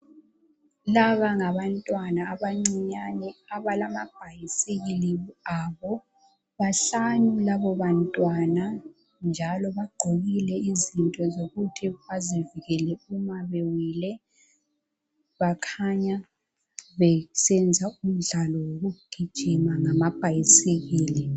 Laba ngabantwana abancinyane abalamabhayisikili abo. Bahlanu labo bantwana njalo bagqokile izinto zokuthi bazivikele uma bewile. Bakhanya besenza umdlalo wokugijima ngamabhayisikili.